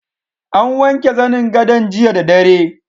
An wanke zanin gadon jiya da dare.